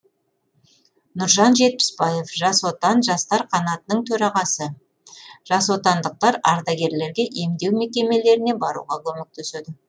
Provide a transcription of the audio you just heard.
нұржан жетпісбаев жас отан жастар қанатының төрағасы жасотандықтар ардагерлерге емдеу мекемелеріне баруға көмектеседі